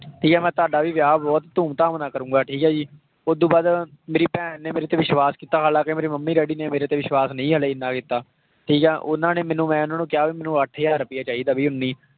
ਠੀਕ ਹੈ ਮੈਂ ਤੁਹਾਡਾ ਵੀ ਵਿਆਹ ਬਹੁਤ ਧੂਮ ਧਾਮ ਨਾਲ ਕਰੂੰਗਾ ਠੀਕ ਹੈ ਜੀ, ਉਹ ਤੋਂ ਬਾਅਦ ਮੇਰੀ ਭੈਣ ਨੇ ਮੇਰੇ ਤੇ ਵਿਸ਼ਵਾਸ ਕੀਤਾ ਹਾਲਾਂਕਿ ਮੇਰੀ ਮੰਮੀ ਡੈਡੀ ਨੇ ਮੇਰੇ ਤੇ ਵਿਸ਼ਵਾਸ ਨਹੀਂ ਜਾਣੀ ਇੰਨਾ ਕੀਤਾ, ਠੀਕ ਹੈ ਉਹਨਾਂ ਨੇ ਮੈਨੂੰ, ਮੈਂ ਉਹਨਾਂ ਨੂੰ ਕਿਹਾ ਵੀ ਮੈਨੂੰ ਅੱਠ ਹਜ਼ਾਰ ਰੁਪਇਆ ਚਾਹੀਦਾ ਵੀ ਉੱਨੀ